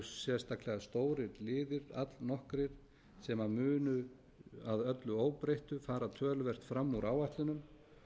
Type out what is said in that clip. sérstaklega stórir liðir allnokkrir sem munu að öllu óbreyttu fara töluvert fram úr áætlunum